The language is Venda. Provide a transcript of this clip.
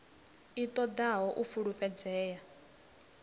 i ṱo ḓaho u fulufhedzea